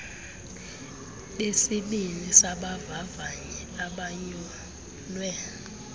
besibini sabavavanyi abanyulwe